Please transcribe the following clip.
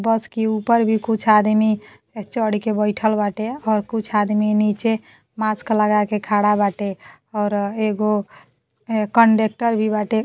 बस के ऊपर भी कुछ आदमी अ चढ़ के बैठल बाटे और अ कुछ आदमी नीचे मास्क लगा के खड़ा बाटे और एगो अ कंडेक्टर भी बाटे।